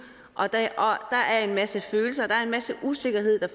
og der er en masse følelser der er en masse usikkerhed der